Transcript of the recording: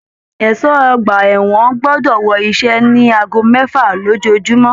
Ẹṣọ ọgbà ẹwọn gbọdọ wọ iṣẹ ní aago mẹfa lójoojúmọ́!